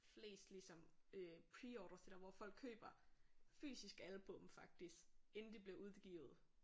Flest ligesom øh preorders det der hvor folk køber fysisk album faktisk inden de bliver udgivet